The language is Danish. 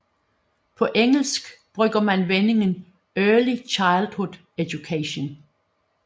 På engelsk bruger man vendingen Early Childhood Education